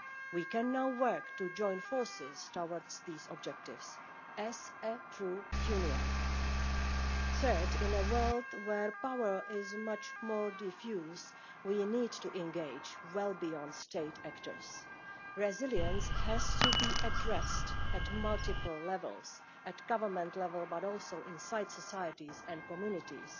We can now work to join forces towards pursuing these objectives as a true union. Thirdly, in a world where power is much more diffused, we need to engage well beyond state actors. Resilience has to be addressed at multiple levels not only at government level but also inside societies and communities.